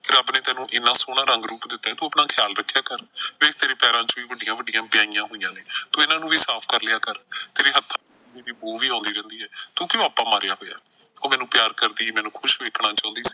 ਰੱਬ ਤੈਨੂੰ ਐਨਾ ਸੋਹਣਾ ਰੰਗ ਰੂਪ ਦਿੱਤਾ ਤੂੰ ਆਪਣਾ ਖ਼ਿਆਲ ਰੱਖਿਆ ਕਰ। ਵੇਖ ਤੇਰੇ ਪੈਰਾਂ ਚ ਵੀ ਵੱਡੀਆਂ ਵੱਡੀਆਂ ਵਿਆਈਆਂ ਹੋਈਆਂ ਨੇ ਤੂੰ ਇਨ੍ਹਾਂ ਨੂੰ ਵੀ ਸਾਫ਼ ਕਰ ਲਿਆ ਕਰ। ਤੇਰੇ ਹੱਥਾਂ ਚ ਬੋ ਵੀ ਆਉਂਦੀ ਰਹਿੰਦੀ ਐ। ਤੂੰ ਕਿਉਂ ਆਪਾ ਮਾਰਿਆ ਹੋਇਆ। ਉਹ ਮੈਨੂੰ ਪਿਆਰ ਕਰਦੀ, ਮੈਨੂੰ ਖੁਸ਼ ਵੇਖਣਾ ਚਾਹੁੰਦੀ ਸੀ।